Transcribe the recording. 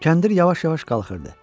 Kəndir yavaş-yavaş qalxırdı.